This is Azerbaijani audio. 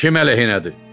Kim əleyhinədir?